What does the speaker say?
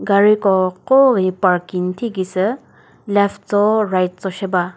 gariko koi parking thikisü left cho right cho she ba.